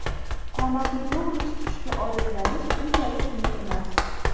Qomatni to‘g‘ri tutishga odatlanish unchalik qiyin emas.